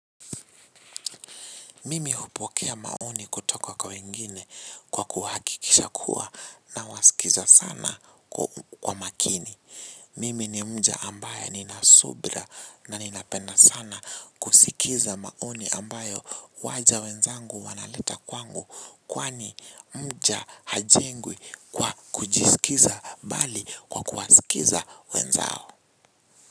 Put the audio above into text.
Mimi hupokea maoni kutoka kwa wengine kwa kuhakikisha kuwa nawasikiza sana kwa makini. Mimi ni mja ambaye nina subra na ninapenda sana kusikiza maoni ambayo waja wenzangu wanaleta kwangu kwani mja hajengwi kwa kujisikiza bali kwa kuwasikiza wenzao.